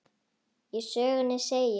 Í sögunni segir: